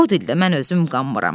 O dildə mən özüm qanmıram.